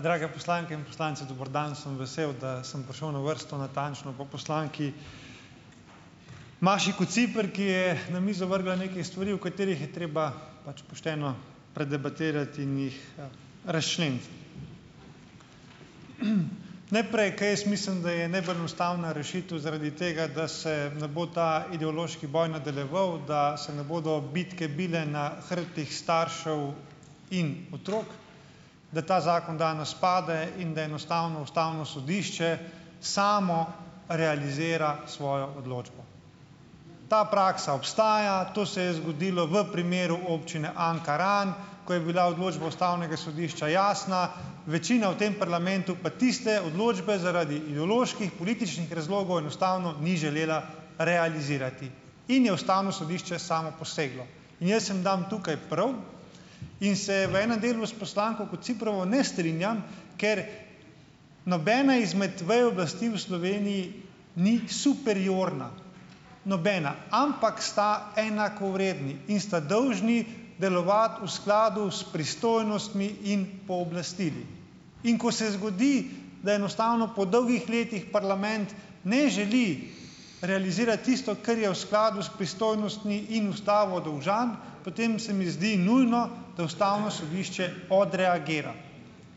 drage poslanke in poslanci, dober dan, sem vesel, da sem prišel na vrsto natančno po poslanki Maši Kociper, ki je na mizo vrgla neke stvari, o katerih je treba pač pošteno predebatirati in jih razčleniti. Najprej, ker jaz mislim, da je najbolj enostavna rešitev zaradi tega, da se ne bo ta ideološki boj nadaljeval, da se ne bodo bitke bile na hrbtih staršev in otrok, da ta zakon danes pade in da enostavno ustavno sodišče samo realizira svojo odločbo. Ta praksa ostaja, to se je zgodilo v primeru občine Ankaran, ko je bila odločba ustavnega sodišča jasna. Večina v tem parlamentu pa tiste odločbe zaradi ideoloških političnih razlogov enostavno ni želela realizirati in je ustavno sodišče samo poseglo, in jaz jim dam tukaj prav, in se je v enem delu s poslanko Kociprovo ne strinjam, ker nobena izmed vej oblasti v Sloveniji ni superiorna, nobena, ampak sta enakovredni in sta dolžni delovati v skladu s pristojnostmi in pooblastili, in ko se zgodi, da enostavno po dolgih letih parlament ne želi realizirati tisto, kar je v skladu s pristojnostmi in ustavo dolžan, potem se mi zdi nujno, da ustavno sodišče odreagira,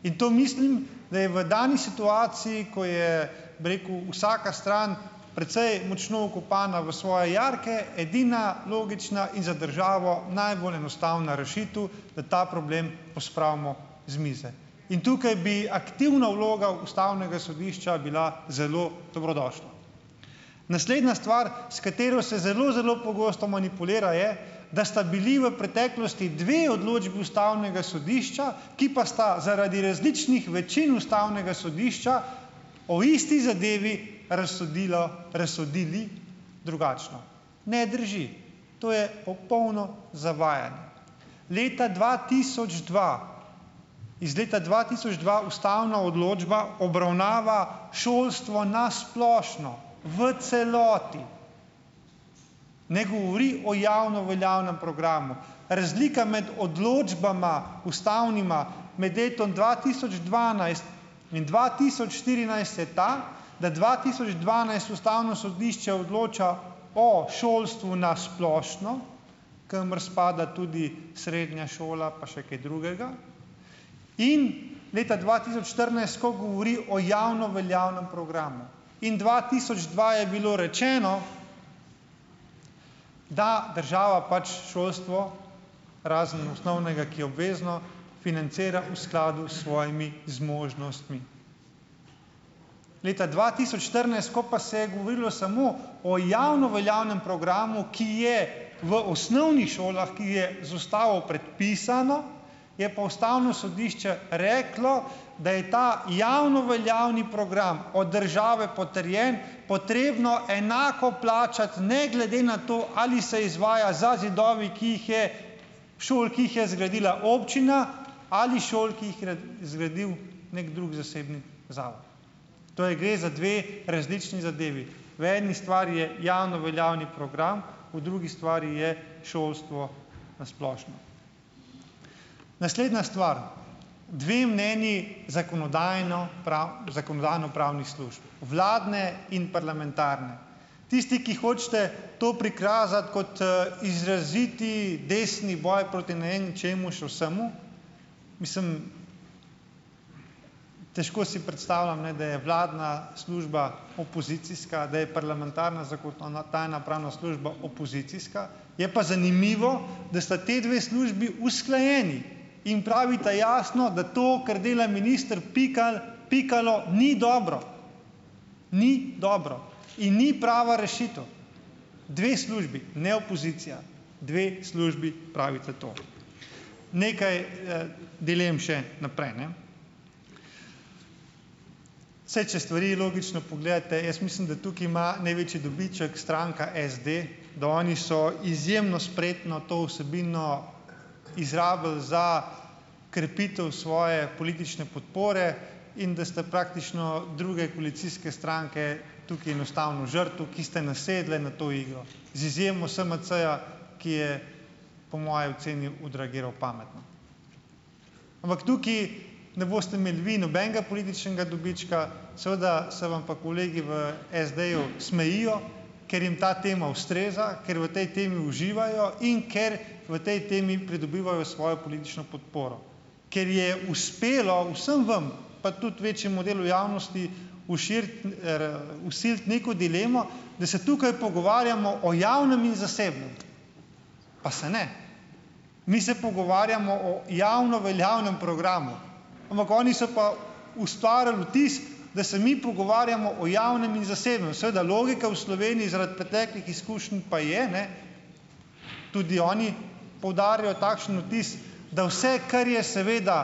in to mislim, da je v dani situaciji, ko je, bi rekel, vsaka stran precej močno vkopana v svoje jarke, edina logična in za državo najbolj enostavna rešitev, na ta problem pospravimo z mize, in tukaj bi aktivna vloga ustavnega sodišča bila zelo dobrodošla. Naslednja stvar, s katero se zelo zelo pogosto manipulira, je, da sta bili v preteklosti dve odločbi ustavnega sodišča, ki pa sta zaradi različnih večin ustavnega sodišča o isti zadevi, razsodilo, razsodili drugačno, ne drži, to je popolno zavajanje. Leta dva tisoč dva, iz leta dva tisoč dva ustavna določba obravnava šolstvo na splošno v celoti, ne govori o javno veljavnem programu, razlika med odločbama ustavnima med letom dva tisoč dvanajst in dva tisoč štirinajst je ta, da dva tisoč dvanajst ustavno sodišče odloča o šolstvu na splošno, kamor spada tudi srednja šola pa še kaj drugega, in leta dva tisoč štirinajst, ko govori o javno veljavnem programu, in dva tisoč dva je bilo rečeno, da država pač šolstvo razen osnovnega, ki je obvezno, financira v skladu s svojimi zmožnostmi, leta dva tisoč štirinajst, ko pa se je govorilo samo o javno veljavnem programu, ki je, ki je v osnovnih šolah, ki je z ustavo predpisano, je pa ustavno sodišče reklo, da je ta javno veljavni program od države potrjen potrebno enako plačati ne glede na to, ali se izvaja za zidovi, ki jih je šol, ki jih je zgradila občina, ali šol, ki jih zgradil neki drug zasebni zavod, torej gre za dve različni zadevi, v eni stvari je javno veljavni program, v drugi stvari je šolstvo na splošno. Naslednja stvar, dve mnenji zakonodajno zakonodajno-pravnih služb, vladne in parlamentarne, tisti, ki hočete to prikazati kot izraziti desni boj proti ne vem čemu še, smo, mislim, težko si predstavljam, ne, da je vladna služba opozicijska, da je parlamentarna zakonodajno-pravna služba opozicijska, je pa zanimivo, da sta ti dve službi usklajeni in pravita jasno, da to, kar dela minister Pikalo, ni dobro, ni dobro, in ni prava rešitev, dve službi, ne opozicija, dve službi pravita to, nekaj dilem še naprej, ne, saj če stvari logično pogledate, jaz mislim, da tukaj ima največji dobiček stranka SD, da oni so izjemno spretno to vsebino izrabili za krepitev svoje politične podpore in da sta praktično druge koalicijske stranke tukaj enostavno žrtev, ki ste nasedle na to igro, z izjemo SMC-ja, ki je po moji oceni odreagiral pametno, ampak tukaj ne boste imeli vi nobenega političnega dobička, seveda se vam pa kolegi v SD-ju smejijo, ker jim ta tema ustreza, ker v tej temi uživajo in ker v tej temi pridobivajo svojo politično podporo, ker je uspelo vsem vam, pa tudi večjemu delu javnosti, vsiliti neko dilemo, da se tukaj pogovarjamo o javnem in zasebnem, pa se ne. Mi se pogovarjamo o javno veljavnem programu, ampak oni so pa ustvarili vtis, da se mi pogovarjamo o javnem in zasebnem, seveda, logika v Sloveniji zaradi preteklih izkušenj pa je, ne, tudi oni poudarijo takšen vtis, da vse, kar je seveda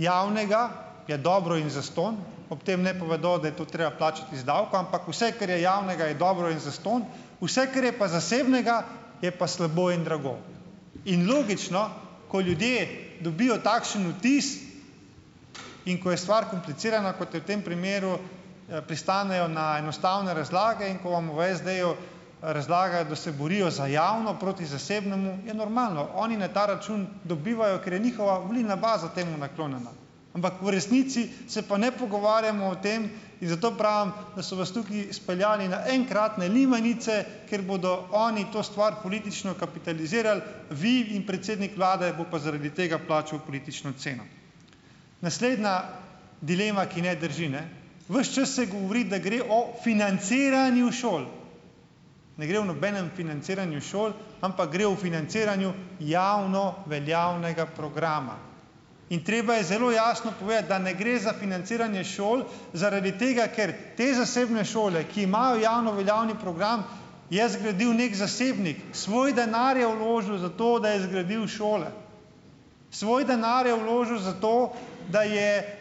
javnega, je dobro in zastonj. Ob tem ne povedo, da je to treba plačati iz davka, ampak vse, kar je javnega, je dobro in zastonj, vse, kar je pa zasebnega, je pa slabo in drago in logično, ko ljudje dobijo takšn vtis in ko je stvar komplicirana kot v tem primeru, pristanejo na enostavne razlage, in ko vam v SD-ju razlagajo, da se borijo za javno proti zasebnemu, je normalno, oni na ta račun dobivajo, ker je njihova volilna baza temu naklonjena, ampak v resnici se pa ne pogovarjamo o tem in zato pravim, da so vas tukaj speljali enkrat na limanice, ker bodo oni to stvar politično kapitalizirali, vi in predsednik vlade bo pa zaradi tega plačal politično ceno. Naslednja dilema, ki ne drži, ne, ves čas se govori, da gre o financiranju šol, ne gre o nobenem financiranju šol, ampak gre o financiranju javno veljavnega programa in treba je zelo jasno povedati, da ne gre za financiranje šol, zaradi tega ker te zasebne šole, ki imajo javno veljavni program, je zgradil neki zasebnik, svoj denar je vložil za to, da je zgradil šole, svoj denar je vložil za to, da je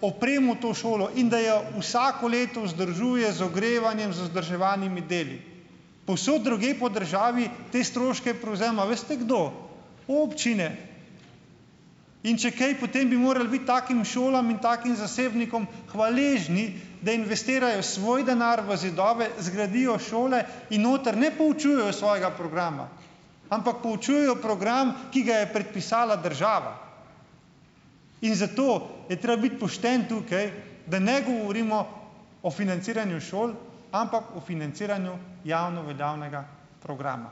opremil to šolo in da jo vsako leto vzdržuje z ogrevanjem z vzdrževalnimi deli, povsod drugje po državi te stroške prevzema veste kdo, občine, in če kaj, potem bi morali biti takim šolam in takim zasebnikom hvaležni, da investirajo svoj denar v zidove, zgradijo šole in noter ne poučujejo svojega programa, ampak poučujejo program, ki ga je predpisala država, in zato je treba biti pošten tukaj, da ne govorimo o financiranju šol, ampak o financiranju javno veljavnega programa,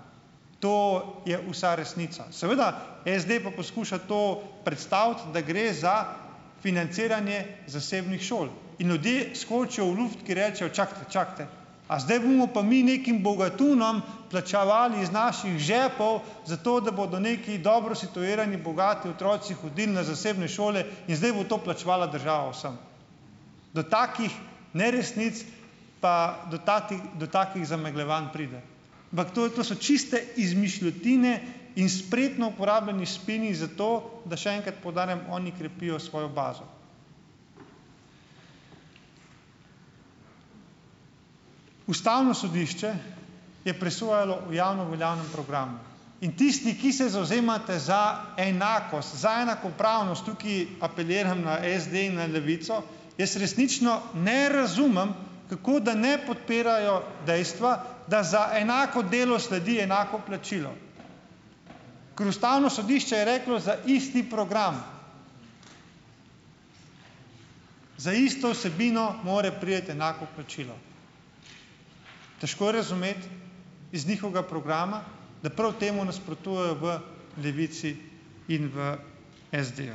to je vsa resnica seveda, SD pa poskuša to predstaviti, da gre za financiranje zasebnih šol, in ljudje skočijo v luft, ki rečejo čakajte, čakajte, a zdaj bomo pa mi nekim bogatunom plačevali iz naših žepov, zato da bodo neki dobro situirani bogati otroci hodili na zasebne šole in zdaj bo to plačevala država vsem. Do takih neresnic, pa do takih do takih zamegljevanj pride, ampak to to so čiste izmišljotine in spretno uporabljeni spini, zato da, še enkrat poudarjam, oni krepijo svojo bazo. Ustavno sodišče je presojalo o javno veljavnem programu in tisti, ki se zavzemate za enakost, za enakopravnost, tukaj apeliram na SD in na Levico, jaz resnično ne razumem, kako da ne podpirajo dejstva, da za enako delo sledi enako plačilo, ker ustavno sodišče je reklo: "Za isti program, za isto vsebino mora priti enako plačilo." Težko je razumeti iz njihovega programa, da prav temu nasprotuje v Levici in v SD-ju,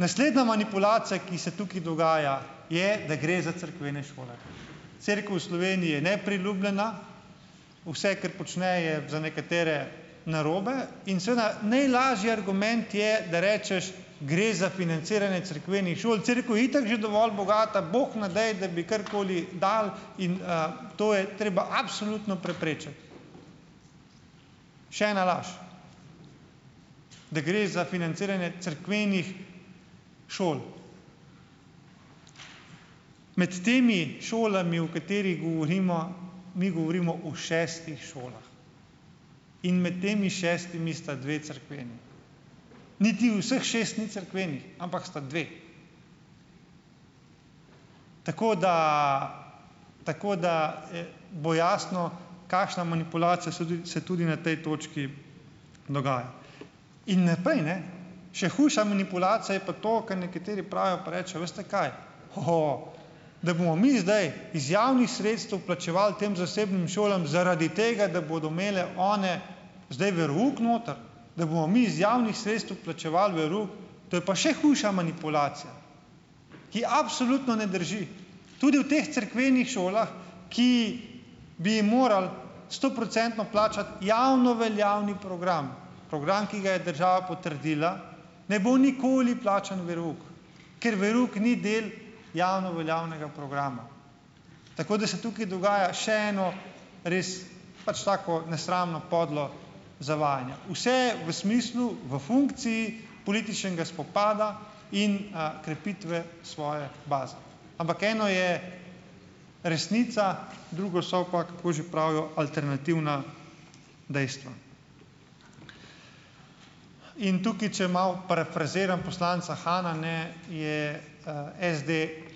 naslednja manipulacija, ki se tukaj dogaja, je, da gre za cerkvene šole, cerkev v Sloveniji je nepriljubljena, vse, kar počne, je za nekatere narobe in seveda najlažji argument je, da rečeš, gre za financiranje cerkvenih šol, cerkev je itak že dovolj bogata, bog ne daj, da bi karkoli dali, in to je treba absolutno preprečiti. Še ena laž, da gre za financiranje cerkvenih šol, med temi šolami, o katerih govorimo, mi govorimo o šestih šolah, in med temi šestimi sta dve cerkveni, niti vseh šest ni cerkvenih, ampak sta dve, tako da, tako da, e, bo jasno, kakšna manipulacija se se tudi na tej točki dogaja, in ne prej, ne, še hujša manipulacija je pa to, kar nekateri pravijo, pa rečejo: "Veste, kaj hoho, da bomo mi zdaj iz javnih sredstev plačeval tem zasebnim šolam zaradi tega, da bodo imele one zdaj verouk noter, da bomo mi iz javnih sredstev plačeval verouk." To je pa še hujša manipulacija, ki absolutno ne drži, tudi v teh cerkvenih šolah, ki bi ji morali stoprocentno plačati javno veljavni program, program, ki ga je država potrdila, ne bo nikoli plačan verouk, ker verouk ni del javno veljavnega programa, tako da se tukaj dogaja še eno, res pač tako nesramno podlo zavajanje, vse v smislu v funkciji političnega spopada in a krepitve svoje baze, ampak eno je resnica, drugo so pa, kako že pravijo, alternativna dejstva, in tukaj, če malo parafraziram poslanca Hana, ne, je SD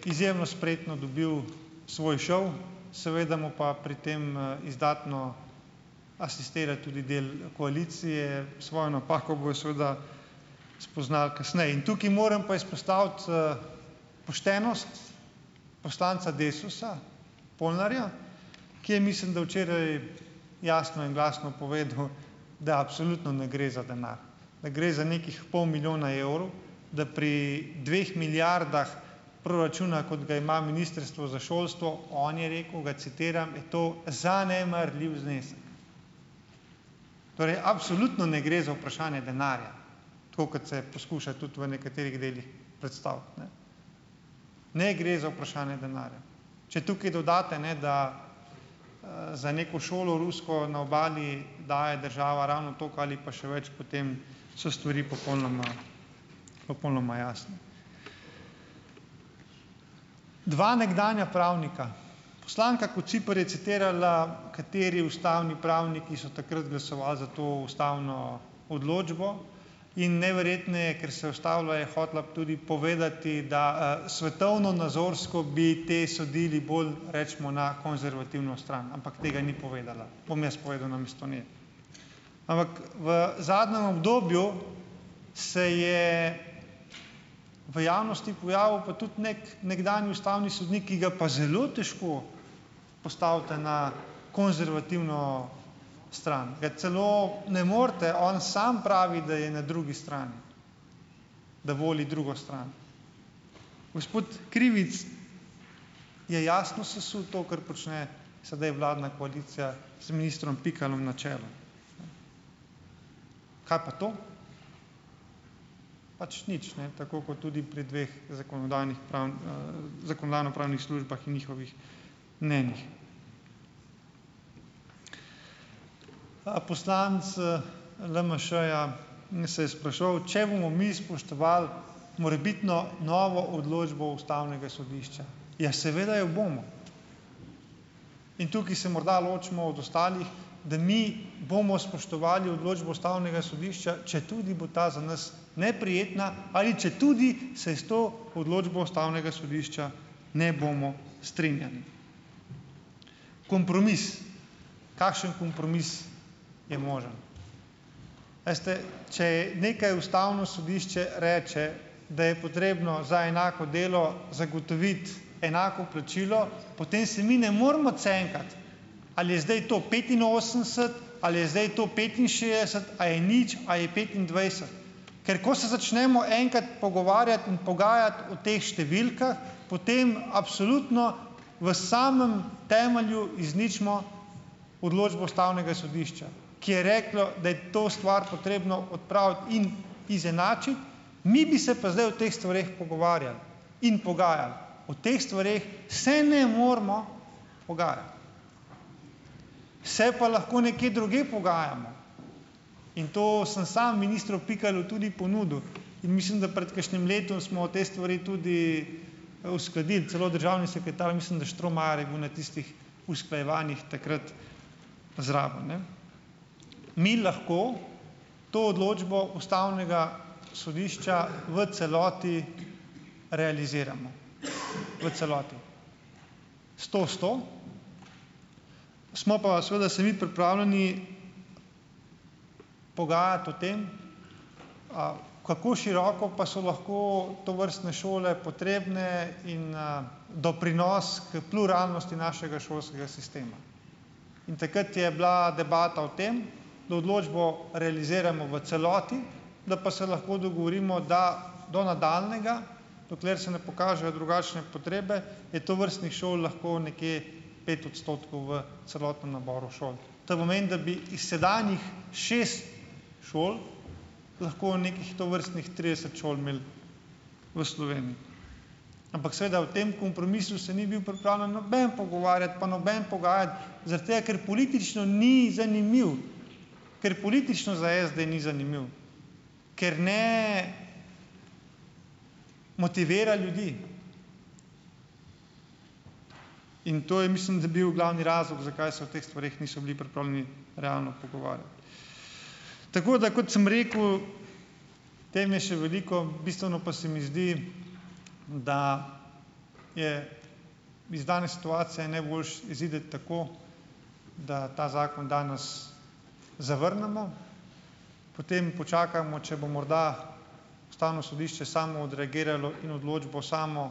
izjemno spretno dobil svoj šov, seveda mu pa pri tem izdatno asistira tudi del koalicije, svojo napako bojo seveda spoznali kasneje, in tukaj moram pa izpostaviti poštenost poslanca Desusa Polnarja, ki je, mislim da včeraj, jasno in glasno povedal, da absolutno ne gre za denar, da gre za nekih pol milijona evrov, da pri dveh milijardah proračuna, kot ga ima ministrstvo za šolstvo, on je rekel, ga citiram, je to "zanemarljiv znesek", torej absolutno ne gre za vprašanje denarja, tako kot se poskuša tudi v nekaterih delih predstaviti, ne, ne gre za vprašanje denarja, če tukaj dodate, ne, da za neko šolo lusko na obali daje država ravno tako ali pa še več, potem so stvari popolnoma, popolnoma jasne. Dva nekdanja pravnika, poslanka Kociper je citirala, kateri ustavni pravniki so takrat glasoval za to ustavno odločbo, in neverjetneje ker se je ustavila, je hotela tudi povedati, da svetovnonazorsko bi ti sodili bolj, recimo, na konzervativno stran, ampak tega ni povedala, bom jaz povedal namesto nje, ampak v zadnjem obdobju se je v javnosti pojavil pa tudi nekaj nekdanji ustavni sodnik, ki ga pa zelo težko postavite na konzervativno stran, ga celo ne morete, on samo pravi, da je na drugi strani, da voli drugo stran, gospod Krivic je jasno ssu to, kar počne sedaj vladna koalicija z ministrom Pikalom na čelu, kaj pa to, pač nič, ne, tako kot tudi pri dveh zakonodajnih-pravnih zakonodajno-pravnih službah in njihovih mnenjih, poslanec LMŠ-ja in se je spraševal, če bomo mi spoštovali morebitno novo odločbo ustavnega sodišča, ja, seveda jo bomo, in tukaj se morda ločimo od ostalih, da mi bomo spoštovali odločbo ustavnega sodišča, četudi bo ta za nas neprijetna ali četudi se je s to odločbo ustavnega sodišča ne bomo strinjali. Kompromis, kakšen kompromis je možen, este, če nekaj ustavno sodišče reče, da je potrebno za enako delo zagotoviti enako plačilo, potem se mi ne moremo cenkati, ali je zdaj to petinosemdeset, ali je zdaj to petinšestdeset, a je nič ali je petindvajset, ker ko se začnemo enkrat pogovarjati in pogajati o teh številkah, potem absolutno v samem temelju izničimo odločbo ustavnega sodišča, ki je reklo, da je to stvar potrebno odpraviti in izenačiti, mi bi se pa zdaj o teh stvareh pogovarjali in pogajali, o teh stvareh se ne moremo pogajati, se pa lahko nekje drugje pogajamo, in to sem samo ministru Pikalu tudi ponudil, in mislim, da pred kakšnim letom smo v te stvari tudi uskladili, celo državni sekretar, mislim da Štromajer, je bil na tistih usklajevanjih takrat zraven, ne, mi lahko to odločbo ustavnega sodišča v celoti realiziramo, v celoti, sto sto, smo pa seveda se mi pripravljeni pogajati o tem, a kako široko pa so lahko tovrstne šole potrebne in doprinos k pluralnosti našega šolskega sistema, in takrat je bila debata o tem, da odločbo realiziramo v celoti, da pa se lahko dogovorimo, da do nadaljnjega, dokler se ne pokažejo drugačne potrebe, je tovrstnih šol lahko nekje pet odstotkov v celotnem naboru šol, to pomeni, da bi s sedanjih šest šol lahko nekih tovrstnih trideset šol imeli v Sloveniji, ampak seveda o tem kompromisu se ni bil pripravljen noben pogovarjati pa noben pogajati zaradi tega, ker politično ni zanimiv, ker politično za SD ni zanimiv, ker ne motivira ljudi, in to je, mislim, da bil glavni razlog, zakaj se o teh stvareh niso bili pripravljeni realno pogovarjati, tako da, kot sem rekel, tem je še veliko, bistveno pa se mi zdi, da je iz dane situacije je najboljše iziti tako, da ta zakon danes zavrnemo, potem počakamo, če bo morda ustavno sodišče samo odreagiralo in odločbo samo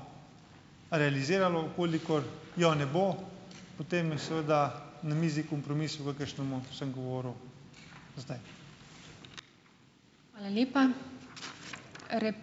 realiziralo, v kolikor jo ne bo, potem je seveda na mizi kompromis o kakšnem sem govoril zdaj. Hvala lepa.